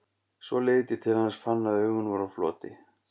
Svo leit ég til hans, fann að augun voru á floti.